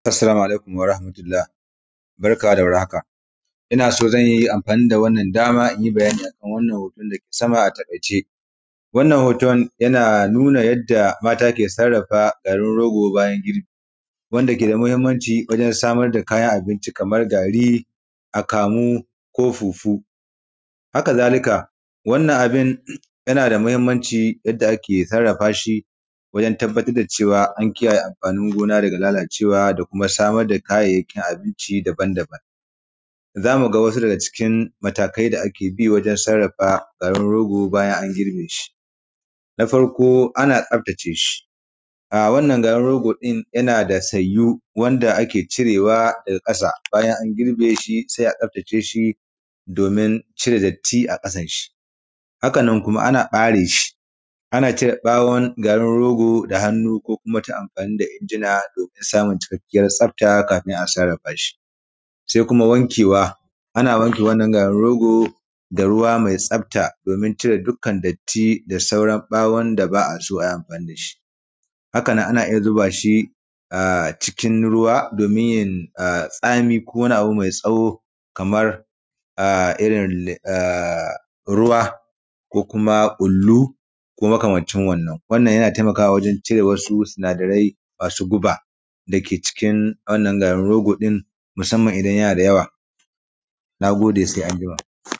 Assalamu alaikum warahmatullah, barka da war haka, ina soo zan yi amfani da wannan dama in yi bayani akan wannan hoton da dake sama a taƙaice wannan hoton yana nunna yadda mata ke sarrafa garin rogo bayan an yi girbi wanda ke da mahinmanci wajen samar da kayan abinci kamar gari akamu ko fufu, hakazalika wannan abun yana da mahinmanci yadda ake sarrafa shi wajen tabbatar da cewa an kiyaye amfanin gona da kuma lalacewa da kuma samar da kayayin abinci daban-daban, za mu ga sausu da kin kin matakai da ake bi wajen garin rogo bayan an girb eshi na farko ana tsaftace shi, a wannan garin rogo ɗin yana da sayu wanda ake cirewa daga ƙasa in an girbe shi sai a tsaftace shi domin a cire datti a ƙasan shi, haka nan kuma ana fere shi a cire ɓawon garin rogo da hannu ko kuma ta amfani da injina domina samun cikakkyiyan tsafta kafin ai asaran fashi, sai kuma wankewa ana wanke wannan garin rogo da ruwa mai tsafta domin a cire dukkan datti da sauran ɓawon da ba a so ai amfani da shi, haka nan ana iya zuba shi a cikin ruwa domina a ya tsame ko wani abu mai tsawo kamar a irin a ruwa ko kuma ƙullu ko makamancin wannan, wannan yana taimakawa wajen cire sausu sinadarai mai guba da ke cikin wannan garin rogo ɗin musamman idan yana da yawa. Na gode, sai anjima.